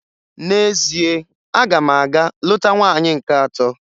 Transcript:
N'ezie, aga m aga lụta nwaanyị nke atọ.